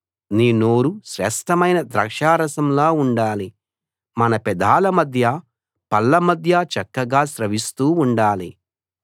నీ నోరు శ్రేష్ఠమైన ద్రాక్షారసంలా ఉండాలి మన పెదాల మధ్య పళ్ళ మధ్య చక్కగా స్రవిస్తూ ఉండాలి